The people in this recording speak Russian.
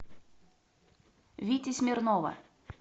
вити смирнова